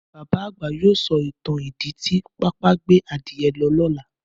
Bàbá àgbà yóò sọ ìtàn ìdí tí pápá gbé adìẹ lọ lọ́la